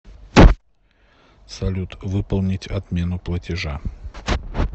салют выполнить отмену платежа